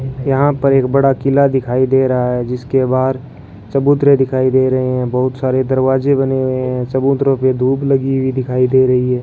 यहां पर एक बड़ा किला दिखाई दे रहा है जिसके बाहर चबूतरे दिखाई दे रहे हैं बहुत सारे दरवाजे बने हुए हैं चबूतरों पे धूप लगी हुई दिखाई दे रही है।